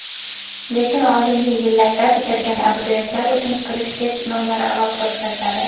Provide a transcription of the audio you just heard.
Lekin oldingi yillarda bitirgan abituriyentlar uchun kirish test sinovlari alohida o‘tkaziladi.